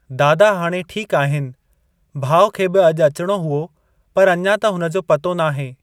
दादा हाणे ठीकु आहिनि। भाउ खे बि अॼु अचणो हुओ पर अञां त हुनजो पतो नाहे।